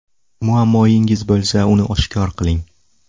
Muammoyingiz bo‘lsa uni oshkor qiling.